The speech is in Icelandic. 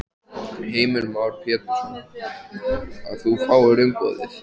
Heimir Már Pétursson: Að þú fáir umboðið?